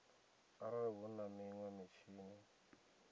arali hu na minwe mitshini